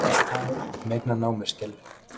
Allt tal um eignarnám er skelfilegt